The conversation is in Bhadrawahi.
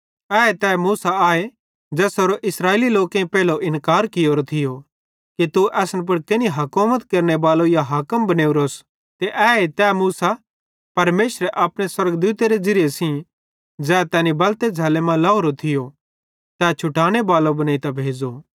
एहे तै मूसो आए ज़ेसेरो इस्राएली लोकेईं पेइलो इन्कार कियोरो थियो कि तू केनि असन पुड़ हुकुमत केरनेबालो या हाकिम बनेवरोस ते एहे तै मूसा परमेशरे अपने स्वर्गदूतेरे ज़िरिये सेइं ज़ै तैनी बलते झ़ैल्लोए मां लाहोरो थियो ते छुटाने बलो बनेइतां भेज़ो